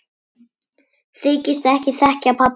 Þykist ekki þekkja pabba sinn!